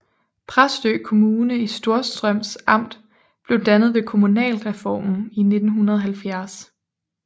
Præstø Kommune i Storstrøms Amt blev dannet ved kommunalreformen i 1970